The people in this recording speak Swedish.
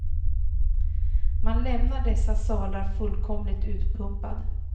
Man lämnar dessa salar fullkomligt utpumpad.